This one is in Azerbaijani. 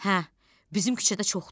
Hə, bizim küçədə çoxdur.